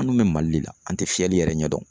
An dun bɛ Mali le la an tɛ fiyɛli yɛrɛ ɲɛ dɔn